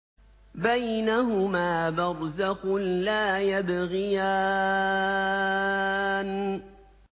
بَيْنَهُمَا بَرْزَخٌ لَّا يَبْغِيَانِ